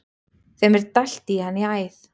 Þeim er dælt í hann í æð.